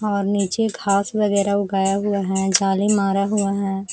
और नीचे घास वग़ैरा उगाया हुआ है। जाली मारा हुआ है।